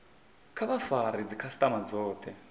kha vha fare dzikhasitama dzothe